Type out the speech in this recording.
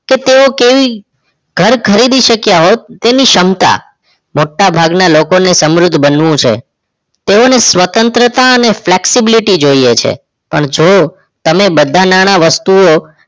તેઓ કેવું ઘર ખરીદી શક્ય હોત તેવી સમતા મોટાભાગ ના લોકો ને સમૃદ્ધ બનવું છે તેઓ ને સ્વતંત્રતા અને flexibility જોઈએ છે જો તમે બધા નાણાં વસ્તુઓ